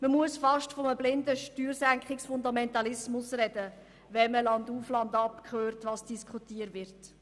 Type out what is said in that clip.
Man muss fast von einem blinden Steuersenkungsfundamentalismus reden, wenn man landauf und landab hört, was diskutiert wird.